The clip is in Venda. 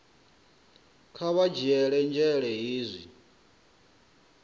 kha vha dzhiele nzhele hezwi